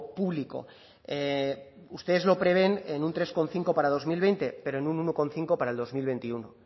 público ustedes lo prevén en un tres coma cinco para dos mil veinte pero en un uno coma cinco para el dos mil veintiuno